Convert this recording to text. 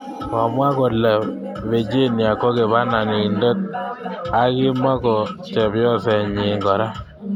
Komwa kole Virginia kokibanindet akimoko chepyoset nyin kora